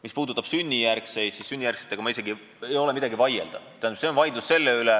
Mis puudutab sünnijärgseid kodanikke, siis siin isegi ei ole, mille üle vaielda.